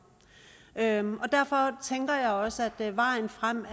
atten år derfor tænker jeg også at vejen frem